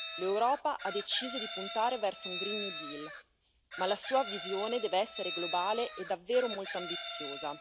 L'Europa ha deciso di puntare verso un green new deal ma la sua visione deve essere globale e davvero molto ambiziosa.